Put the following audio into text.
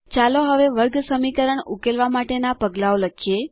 ચાલો હવે વર્ગસમીકરણ ઉકેલવા માટે ના પગલાંઓ લખીએ